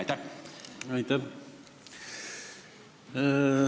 Aitäh!